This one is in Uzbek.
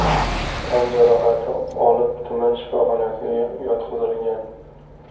tan jarohati olib tuman shifoxonasiga yotqizilgan.